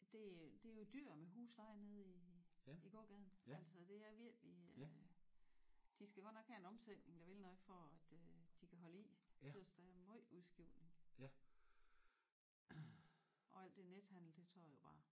Det det er jo dyrt med husleje nede i i gågaden altså det er virkelig de skal godt nok have en omsætning der vil noget for at de kan holde i tøs der er møj udskiftning og alt det nethandel det tager jo bare